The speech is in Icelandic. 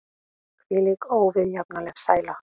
Hvílík óviðjafnanleg sæla!